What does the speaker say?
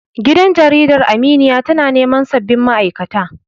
Gidan Jaridar Aminiya tana neman sabbin ma'aikata.